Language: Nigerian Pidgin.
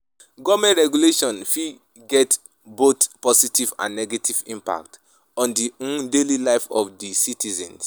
government regulations fit get both positive and negative impact on di um daily life of di citizens.